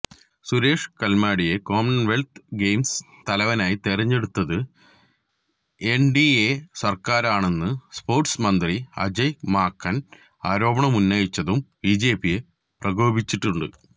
സുരേഷ് കല്മാഡിയെ Commonwealth Games തലവനായി തെരഞ്ഞെടുത്തത് എന്ഡിഎ സര്ക്കാരാണെന്ന് സ്പോര്ട്സ് മന്ത്രി അജയ് മാക്കന് ആരോപണമുന്നയിച്ചതും ബിജെപിയെ പ്രകോപിപ്പിച്ചിട്ടുണ്ട്